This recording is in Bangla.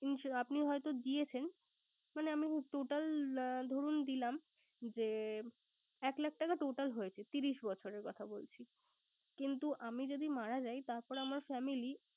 আপনি হয়ত দিয়েছেন। মানে আমি total ধরুন দিলাম যে একলাখ টাকা total হয়েছে। ত্রিশ বছরের কথা বলছি। কিন্তু আমি যদি মারা যাই। তারপর আমার family